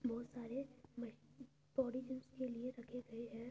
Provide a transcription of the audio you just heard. बहुत सारे machine body gyms के लिए रखे गए हैं।